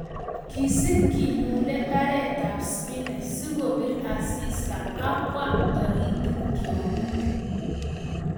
Kisib kilule mbaretab spinach sikobir asista ak kwam tritiktiong'ik.